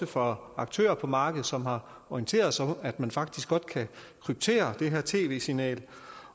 fra aktører på markedet som har orienteret os om at man faktisk godt kan kryptere det her tv signal